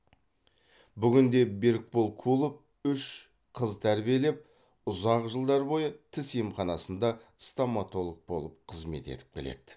бүгінде берікбол кулов үш қыз тәрбиелеп ұзақ жылдар бойы тіс емханасында стоматолог болып қызмет етіп келеді